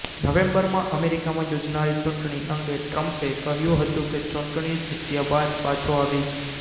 નવેમ્બરમાં અમેરિકામાં યોજાનારી ચૂંટણી અંગે ટ્રમ્પે કહ્યું હતું કે હું ચૂંટણી જીત્યા બાદ પાછો આવીશ